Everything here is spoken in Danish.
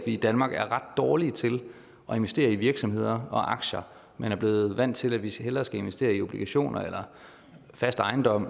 i danmark er ret dårlige til at investere i virksomheder og aktier man er blevet vant til at vi hellere skal investere i obligationer eller fast ejendom